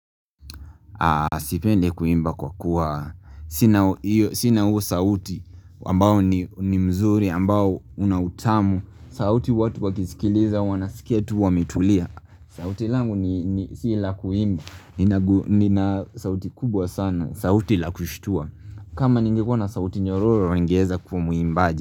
Sipendi kuimba kwa kuwa. Sina huo sauti ambao ni mzuri ambao una utamu. Sauti watu wakisikiliza wanasikia tu wametulia. Sauti langu ni si la kuimba. Nina sauti kubwa sana. Sauti la kushtua. Kama ningekuwa na sauti nyororo ningeeza kuwa muimbaji.